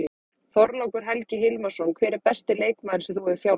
Þorlákur Helgi Hilmarsson Hver er besti leikmaður sem þú hefur þjálfað?